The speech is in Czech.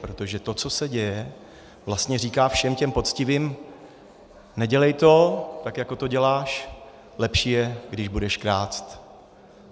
Protože to, co se děje, vlastně říká všem těm poctivým: nedělej to, tak jako to děláš, lepší je, když budeš krást.